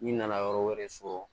N'i nana yɔrɔ wɛrɛ so